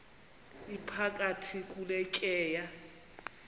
iphakathi kule tyeya